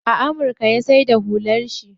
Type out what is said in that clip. A amurka ya saida hular shi.